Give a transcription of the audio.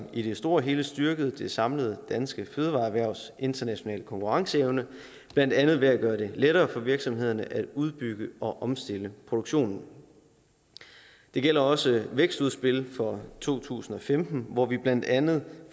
i det store hele har styrket det samlede danske fødevareerhvervs internationale konkurrenceevne blandt andet ved at gøre det lettere for virksomhederne at udbygge og omstille produktionen det gælder også vækstudspillet fra to tusind og femten hvor vi blandt andet